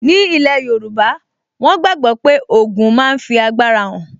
Ní ilẹ̀ yóòbá, wọ́n gbàgbọ́ pé ogun máa fi agbára hàn